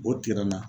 O tigɛ la